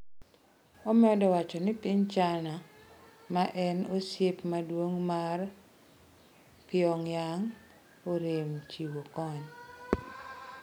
Omedo wacho ni piny China, maen osiep maduong' mar Pyongyang, orem chiwo kony.